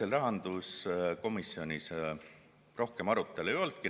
Ega rahanduskomisjonis rohkem arutelu ei olnudki.